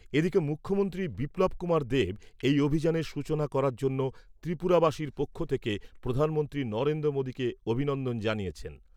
এদিকে, মুখ্যমন্ত্রী বিপ্লব কুমার দেব এই অভিযানের সূচনা করার জন্য ত্রিপুরাবাসীর পক্ষ থেকে প্রধানমন্ত্রী নরেন্দ্র মোদিকে অভিনন্দন জানিয়েছেন।